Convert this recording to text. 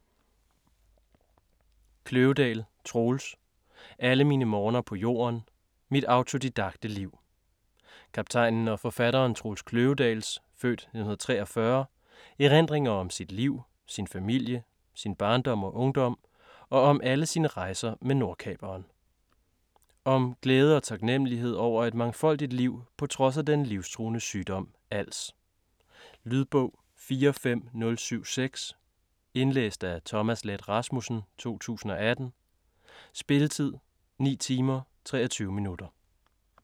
Kløvedal, Troels: Alle mine morgener på jorden: mit autodidakte liv Kaptajnen og forfatteren Troels Kløvedals (f. 1943) erindringer om sit liv, sin familie, sin barndom og ungdom og om alle sine rejser med Nordkaperen. Om glæde og taknemmelighed over et mangfoldigt liv på trods af den livstruende sygdom als. Lydbog 45076 Indlæst af Thomas Leth Rasmussen, 2018. Spilletid: 9 timer, 23 minutter.